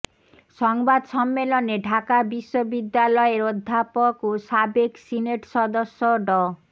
সংবাদ সম্মেলনে ঢাকা বিশ্ববিদ্যালয়ের অধ্যাপক ও সাবেক সিনেট সদস্য ড